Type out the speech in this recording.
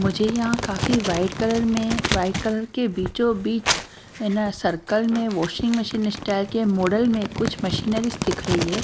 मुझे यहां काफी वाइट कलर में वाइट कलर के बीचोंबीच ना सर्कल में वाशिंग मशीन स्टाइल के मॉडल में कुछ मशीनरी दिख रही है।